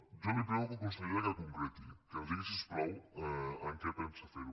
jo li prego consellera que concreti que ens digui si us plau amb què pensa fer ho